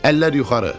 Əllər yuxarı!